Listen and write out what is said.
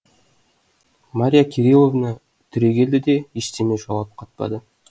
марья кириловна түрегелді де ештеме жауап қатпады